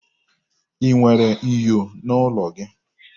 Ị nwere ènyò n'ụlọ gị?